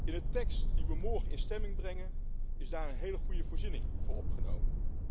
In de tekst die we morgen in stemming brengen is daar een hele goede voorziening voor opgenomen.